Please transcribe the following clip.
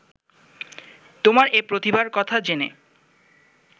তোমার এ প্রতিভার কথা জেনে